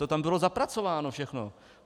To tam bylo zapracováno všechno.